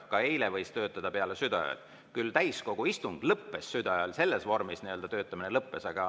Ka eile võis töötada peale südaööd, täiskogu istung lõppes küll südaööl, selles vormis töötamine lõppes.